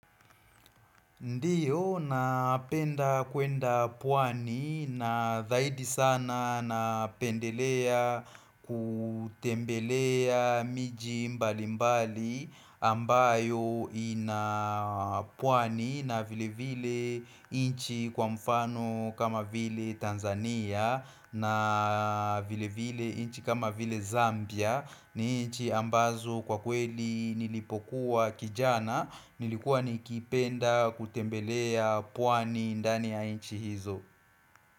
Ndiyo, napenda kwenda pwani na zaidi sana napendelea kutembelea miji mbali mbali ambayo ina pwani na vile vile inchi kwa mfano kama vile Tanzania na vile vile inchi kama vile Zambia ni inchi ambazo kwa kweli nilipokuwa kijana Nilikuwa nikipenda kutembelea pwani ndani ya inchi hizo.